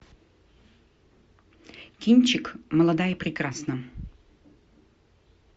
кинчик молода и прекрасна